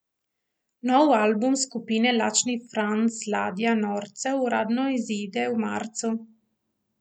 Novi album skupine Lačni Franz Ladja norcev uradno izide v marcu.